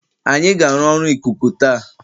Anyị ga-arụ ọrụ ikuku taa